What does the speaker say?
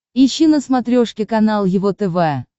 ищи на смотрешке канал его тв